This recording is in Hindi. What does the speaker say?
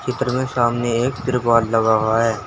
चित्र में सामने एक तिरपाल लगा हुआ है।